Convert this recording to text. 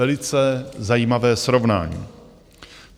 velice zajímavé srovnání.